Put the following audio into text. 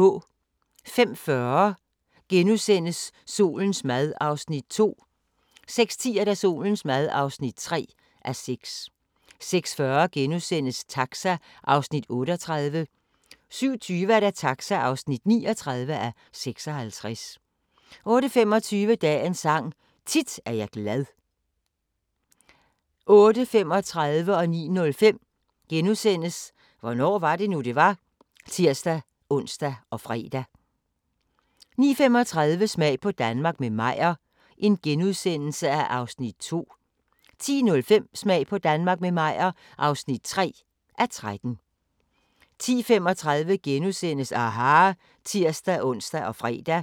05:40: Solens mad (2:6)* 06:10: Solens mad (3:6) 06:40: Taxa (38:56)* 07:20: Taxa (39:56) 08:25: Dagens Sang: Tit er jeg glad 08:35: Hvornår var det nu, det var? *(tir-ons og fre) 09:05: Hvornår var det nu, det var? *(tir-ons og fre) 09:35: Smag på Danmark – med Meyer (2:13)* 10:05: Smag på Danmark – med Meyer (3:13) 10:35: aHA! *(tir-ons og fre)